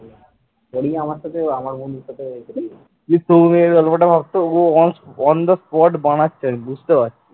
তুই সৌমিকের গল্পটা ভাবতো ওগুলো ও on on the sport বানাচ্ছে আমি বুঝতে পারছি।